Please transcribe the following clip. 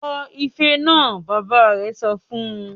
"Fọ́ ifẹ náà!", Bàbá rẹ̀ sọ fún